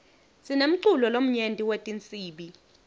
sinemculo lomnyenti wetinsibi